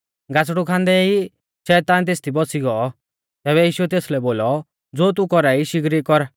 गासड़ु खांदै ऐ शैतान तेसदी बौसी गौ तैबै यीशुऐ तेसलै बोलौ ज़ो तू कौरा ई शिगरी कर